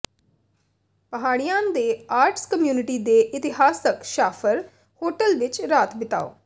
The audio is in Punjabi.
ਪਹਾੜੀਆਨ ਦੇ ਆਰਟਸ ਕਮਿਊਨਿਟੀ ਦੇ ਇਤਿਹਾਸਕ ਸ਼ਾਹਫ਼ਰ ਹੋਟਲ ਵਿੱਚ ਰਾਤ ਬਿਤਾਓ